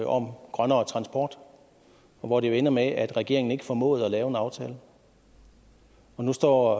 om grønnere transport hvor det jo endte med at regeringen ikke formåede at lave en aftale nu står